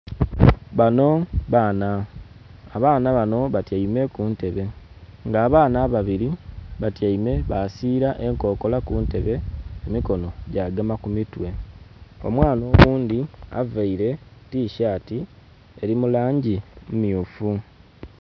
Banho baana. Abaana banho batyaime ku ntebe. Nga abaana ababiri batyaime basiira enkokola ku ntebe emikonho gyagema ku mitwe. Omwana oghundhi availe tishati, eli mu langi mmyufu.